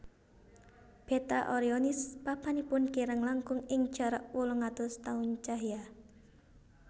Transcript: Beta Orionis papanipun kirang langkung ing jarak wolung atus taun cahya